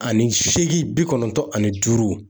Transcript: Ani seegin bi kɔnɔntɔn ani duuru.